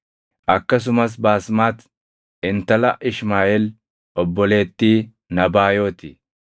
akkasumas Baasmati intala Ishmaaʼeel obboleettii Nabaayoti.